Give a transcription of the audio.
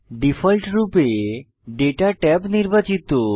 ডিফল্টরূপে দাতা ট্যাব নির্বাচিত